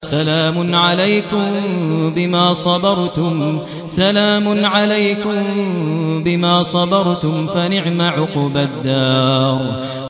سَلَامٌ عَلَيْكُم بِمَا صَبَرْتُمْ ۚ فَنِعْمَ عُقْبَى الدَّارِ